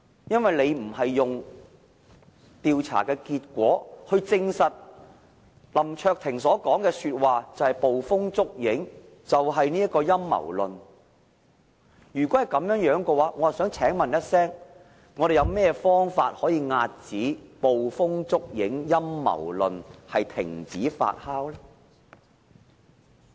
如果不是用調查的結果來證實林卓廷議員所說的話是捕風捉影、陰謀論的話，我想問有甚麼方法可以遏止捕風捉影、陰謀論，停止這些言論發酵呢？